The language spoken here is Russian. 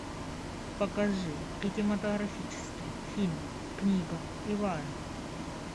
покажи кинематографический фильм книга илая